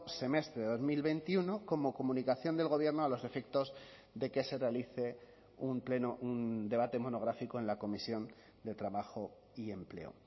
semestre de dos mil veintiuno como comunicación del gobierno a los efectos de que se realice un pleno un debate monográfico en la comisión de trabajo y empleo